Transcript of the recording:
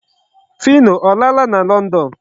Phyno ọ laala na London?